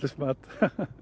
mat